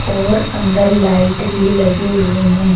और अंदर लाइट भी लगी हुई हैं।